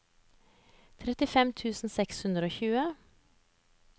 trettifem tusen seks hundre og tjue